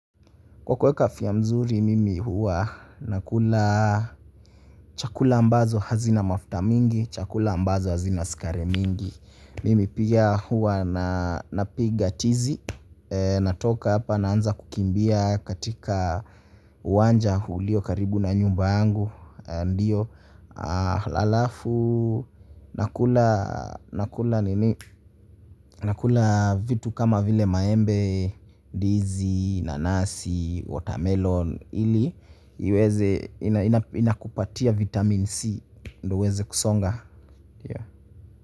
Kwa kuweka afya nzuri mimi huwa nakula chakula ambazo hazina mafuta mingi chakula ambazo hazina sukari mingi mimi pia huwa na napiga tizi, natoka hapa naanza kukimbia katika uwanja hulio karibu na nyumba yangu. Ndiyo, halafu nakula nakula nini nakula vitu kama vile maembe, dizi, nanasi, watermelon ili, iweze ina ina inakupatia vitamin C, ndo uweze kusonga.